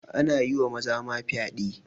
Ana yi wa maza ma fyaɗe